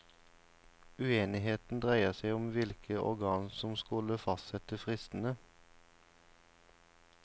Uenigheten dreier seg om hvilket organ som skulle fastsette fristene.